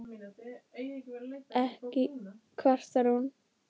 Ekki kvartar hún